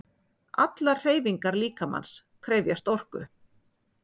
Allar hreyfingar líkamans krefjast orku.